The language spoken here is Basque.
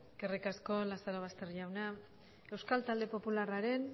eskerrik asko lazarobaster jauna euskal talde popularraren